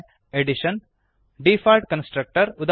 Addition default constructor ಉದಾ